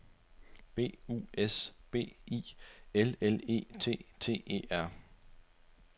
B U S B I L L E T T E R